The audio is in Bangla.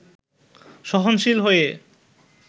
সহনশীল হয়ে